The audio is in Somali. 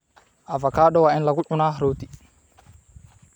Avocado waa in lagu cunaa rooti.